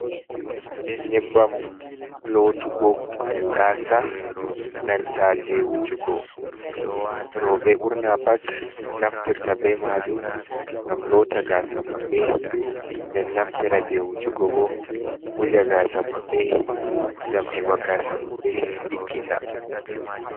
Nyebbam lootugo gaasa, nanta je wujugo, rooɓe ɓurna pat naftirta be maajum ngam loota gaasa maɓɓe, nden naftira je wujugo bo wuja gaasa maɓɓe ngam heɓa gaasa maɓɓe ɗiggita.